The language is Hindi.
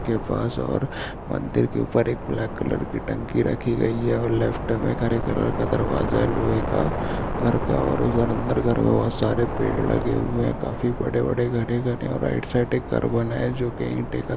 के पास और मंदिर के ऊपर एक ब्लैक कलर की टंकी रखी गई है और लेफ्ट में हरे कलर का दरवाज़ा लोहे का घर का उधर अन्दर और सारे पेड़ लगे हुए है काफ़ी बड़े-बड़े घने-घने और राइट साइड एक घर बना है जो कि ईटे का --